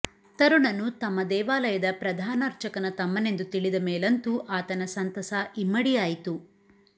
ತರುಣನು ತಮ್ಮ ದೇವಾಲಯದ ಪ್ರಧಾನಾರ್ಚಕನ ತಮ್ಮನೆಂದು ತಿಳಿದ ಮೇಲಂತೂ ಆತನ ಸಂತಸ ಇಮ್ಮಡಿಯಾಯಿತು